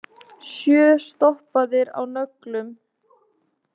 Sjö stoppaðir á nöglum